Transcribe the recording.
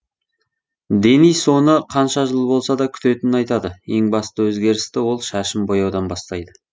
денис оны қанша жыл болса да күтетінін айтады ең басты өзгерісті ол шашын бояудан бастайды